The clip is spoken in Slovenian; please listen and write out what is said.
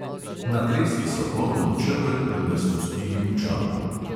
Natresli so poln čeber in ga spustili v čoln.